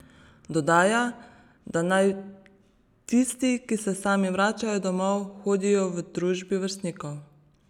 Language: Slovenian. Dodaja, da naj tisti, ki se sami vračajo domov, hodijo v družbi vrstnikov.